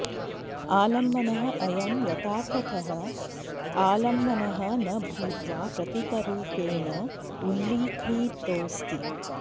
आलम्भनः अयं यथार्थतः अालम्भनः न भूत्वा प्रतीकरूपेण उल्लिखितोऽस्ति